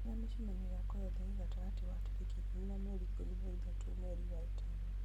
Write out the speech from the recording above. njĩĩra mĩcemanio yakwa yothe ĩ gatagatĩ wa tarĩki ikũmi na mweri ikũmi na ithatũ mweri wa ĩtano